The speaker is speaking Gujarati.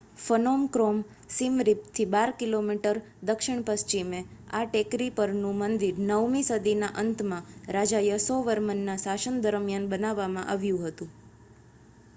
ફનોમ ક્રોમ સીમ રિપ થી 12 કિમી દક્ષિણ પશ્ચિમે આ ટેકરી પર નું મંદિર 9 મી સદી ના અંત માં રાજા યસોવર્મન ના શાસન દરમ્યાન બાંધવામાં આવ્યું હતું